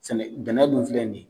Sɛnɛ bɛnnɛ dun filɛ ni ye